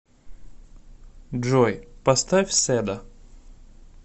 джой поставь седа